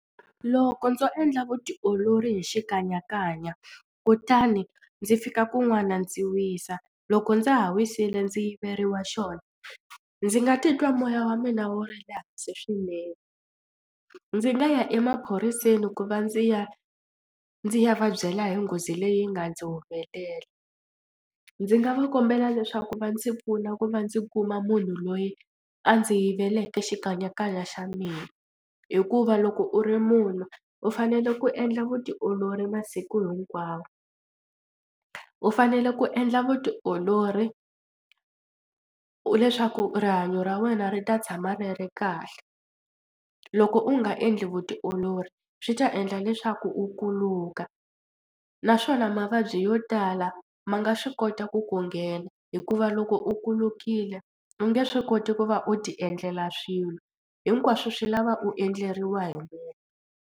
Loko ndzo endla vutiolori hi xikanyakanya kutani ndzi fika kun'wana ndzi wisa loko ndza ha wisile ndzi yiveriwa xona ndzi nga titwa moya wa mina wo ri le hansi swinene. Ndzi nga ya emaphoriseni ku va ndzi ya ndzi ya va byela hi nghozi leyi nga ndzi humelela ndzi nga va kombela leswaku va ndzi pfuna ku va ndzi kuma munhu loyi a ndzi yi veleke xikanyakanya xa mina hikuva loko u ri munhu u fanele ku endla vutiolori masiku hinkwawo. U fanele ku endla vutiolori u leswaku rihanyo ra wena ri ta tshama ri ri kahle. Loko u nga endli vutiolori swi ta endla leswaku u kuluka naswona mavabyi yo tala ma nga swi kota ku ku nghena hikuva loko u kulukile u nge swi koti ku va u tiendlela swilo hinkwaswo swi lava u endleriwa hi munhu.